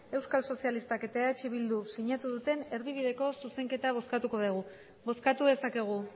euskal sozialistak eta eh bildu sinatu duten erdibideko zuzenketa bozkatuko dugu bozkatu dezakegu